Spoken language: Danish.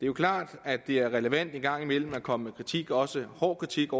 jo klart at det er relevant en gang imellem at komme med kritik også hård kritik